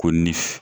Ko ni f